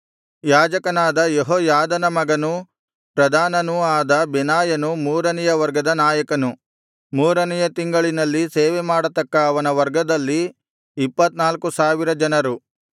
ಯಾಜಕನಾದ ಯೆಹೋಯಾದನ ಮಗನೂ ಪ್ರಧಾನನೂ ಆದ ಬೆನಾಯನು ಮೂರನೆಯ ವರ್ಗದ ನಾಯಕನು ಮೂರನೆಯ ತಿಂಗಳಿನಲ್ಲಿ ಸೇವೆಮಾಡತಕ್ಕ ಅವನ ವರ್ಗದಲ್ಲಿ ಇಪ್ಪತ್ತನಾಲ್ಕು ಸಾವಿರ ಜನರು